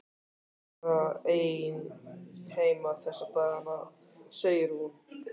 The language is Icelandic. Ég er bara ein heima þessa dagana, segir hún.